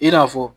I n'a fɔ